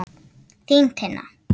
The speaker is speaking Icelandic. Þín, Tinna.